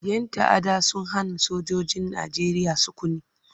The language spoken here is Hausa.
Yan ta'adda sun hana sojojin Najeriya sukuni.